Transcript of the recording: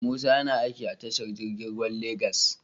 Musa YAna aiki tashar jirgin ruwa lagos